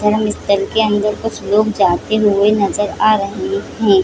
के अंदर कुछ लोग जाते हुए नजर आ रहे है